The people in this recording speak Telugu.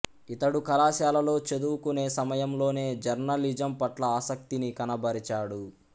ఇతడు కళాశాలలో చదువుకునే సమయంలోనే జర్నలిజం పట్ల ఆసక్తిని కనబరచాడు